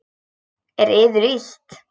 Er yður illt?